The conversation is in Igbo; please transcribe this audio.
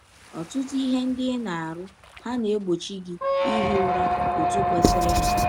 Ọtụtụ ihe ndị ị na - arụ hà na - egbọchi gị ihi ụra ọtụ kwesịrịnụ?